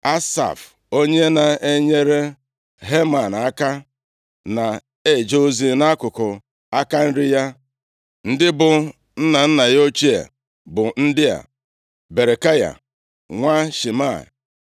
Asaf onye na-enyere Heman aka, na-eje ozi nʼakụkụ aka nri ya. Ndị bụ nna nna ya ochie bụ ndị a: Berekaya, nwa Shimea,